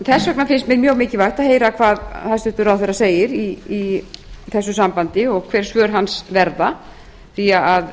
þess vegna finnst mér mjög mikilvægt að heyra hvað hæstvirtur ráðherra segir í þessu sambandi og hver svör hans verða því